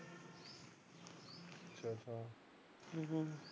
ਹਮ